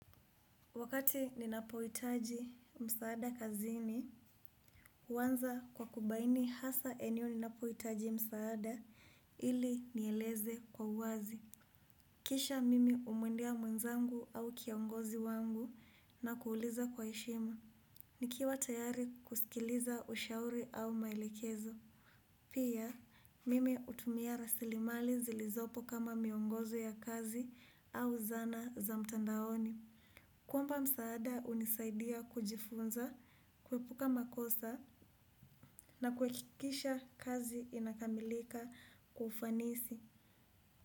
Wakati ninapowitaji msaada kazini, uwanza kwa kubaini hasa eneo ninapowitaji msaada ili nieleze kwa uwazi. Kisha mimi umuendia mwenzangu au kiongozi wangu na kuuliza kwa eshima. Nikiwa tayari kusikiliza ushauri au maelekezo. Pia, mimi utumia rasili mali zilizopo kama miongozo ya kazi au zana za mtandaoni. Kwamba msaada unisaidia kujifunza, kwepuka makosa na kwekikisha kazi inakamilika kwa ufanisi.